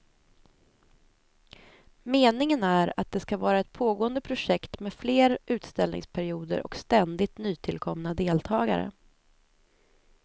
Meningen är att det ska vara ett pågående projekt med fler utställningsperioder och ständigt nytillkomna deltagare.